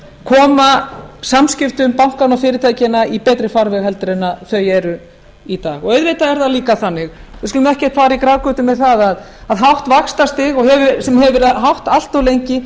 að koma samskiptum bankanna og fyrirtækjanna í betri farveg heldur en þau eru í dag auðvitað er það líka þannig við skulum ekki fara í grafgötur með það að hátt vaxtastig sem hefur verið hátt allt of lengi